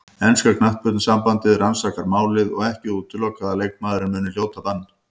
Enska knattspyrnusambandið rannsakar málið og ekki útilokað að leikmaðurinn muni hljóta bann.